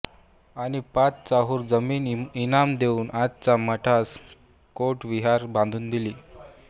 आणि पाच चाहूर जमीन इनाम देऊन आजच्या मठास कोट विहीर बांधून दिली